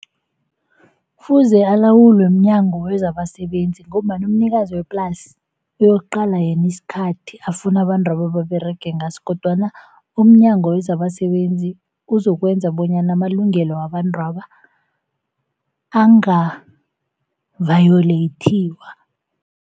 Kufuze alawulwe mNyango wezabaSebenzi ngombana umnikazi weplasi uyokuqala yena isikhathi afuna abantwaba baberege ngaso. Kodwana umNyango wezabaSebenzi uzokwenza bonyana amalungelo wabantwaba angavayolethiwa.